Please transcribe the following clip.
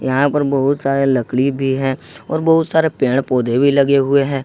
यहां पर बहुत सारे लकड़ी भी हैं और बहुत सारे पेड़ पौधे भी लगे हुए हैं।